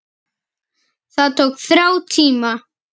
Það tók þrjá tíma.